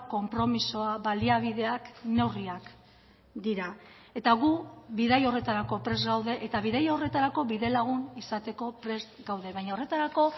konpromisoa baliabideak neurriak dira eta gu bidai horretarako prest gaude eta bidaia horretarako bidelagun izateko prest gaude baina horretarako